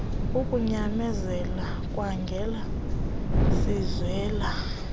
ukunyamezela khaangela siswela